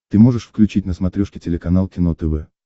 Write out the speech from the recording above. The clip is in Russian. ты можешь включить на смотрешке телеканал кино тв